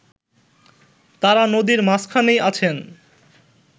তারা নদীর মাঝখানেই আছেন